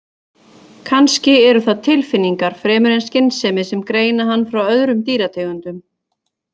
Kannski eru það tilfinningar fremur en skynsemi sem greina hann frá öðrum dýrategundum.